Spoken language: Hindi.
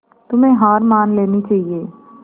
तुम्हें हार मान लेनी चाहियें